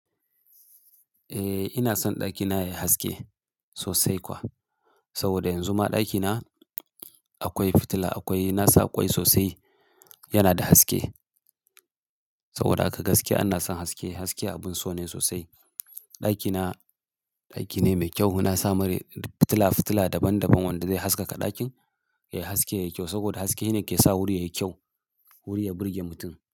Eh ina son ɗakina yayi haske sosai kuwa. Saboda yanzu ma ɗakina akwai fitila akwai, na sa kwai sosai yana da haske. Saboda a gaskiya ana son haske, haske abin so ne sosai. Ɗakina ɗaki ne mai kyau. Na sa mari fitila-fitila daban daban wanda zai haskaka ɗakin, yayi haske, yayi kyau saboda haske ne yake sa wuri yayi kyau. Wuri ya burge mutum.